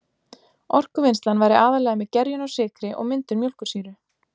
Orkuvinnslan væri aðallega með gerjun á sykri og myndun mjólkursýru.